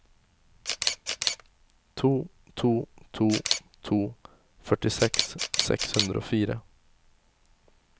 to to to to førtiseks seks hundre og fire